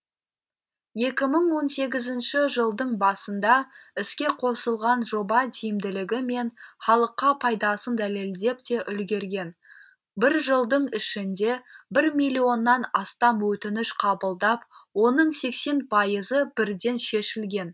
екі мың он сегізінші жылдың басында іске қосылған жоба тиімділігі мен халыққа пайдасын дәлелдеп те үлгерген бір жылдың ішінде бір миллионнан астам өтініш қабылдап оның сексен пайызы бірден шешілген